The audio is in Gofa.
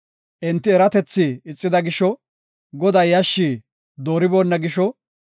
Enti eratethi ixida gisho; Godaa yashshi dooriboonna gisho,